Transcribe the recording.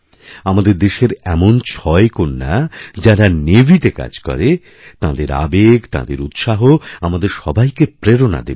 আমাদের দেশের এমন ছয় কন্যা যাঁরা নেভিতে কাজ করে তাঁদের আবেগতাঁদের উৎসাহ আমাদের সবাইকে প্রেরণা দেবে